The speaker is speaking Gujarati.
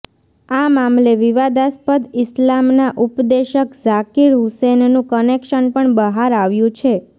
આ મામલે વિવાદાસ્પદ ઈસ્લામના ઉપદેશક ઝાકિર હુસેનનું કનેક્શન પણ બહાર આવ્યું છે